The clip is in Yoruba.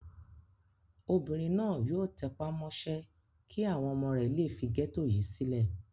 Obìnrin náà yóò tẹpá mọ́ṣẹ́ kí àwọn ọmọ rẹ̀ le fi gẹ́tò yìí sílẹ̀.